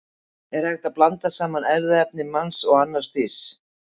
En er hægt að blanda saman erfðaefni manns og annars dýrs?